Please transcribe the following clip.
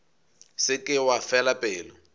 se ke wa fela pelo